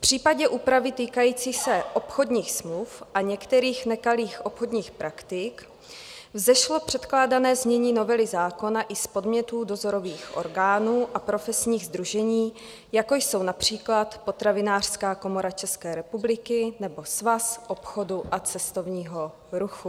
V případě úpravy týkající se obchodních smluv a některých nekalých obchodních praktik vzešlo předkládané znění novely zákona i z podnětů dozorových orgánů a profesních sdružení, jako jsou například Potravinářská komora České republiky nebo Svaz obchodu a cestovního ruchu.